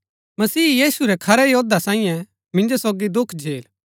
मसीह यीशु रै खरै योद्धा सांईं मिन्जो सोगी दुख झेल